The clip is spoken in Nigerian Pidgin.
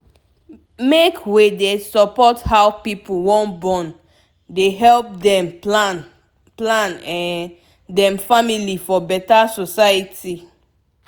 make wey dey support how pipu wan born dey help dem plan plan um dem family for beta society